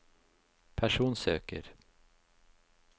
personsøker